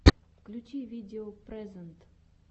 включи видео прэзэнт